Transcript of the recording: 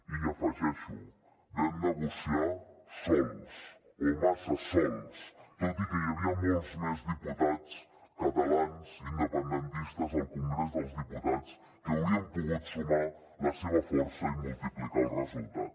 i hi afegeixo vam negociar sols o massa sols tot i que hi havia molts més diputats catalans independentistes al congrés dels diputats que haurien pogut sumar la seva força i multiplicar el resultat